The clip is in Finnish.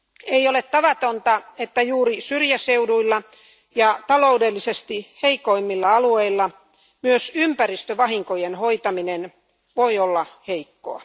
Ei ole tavatonta, että juuri syrjäseuduilla ja taloudellisesti heikoimmilla alueilla myös ympäristövahinkojen hoitaminen voi olla heikkoa.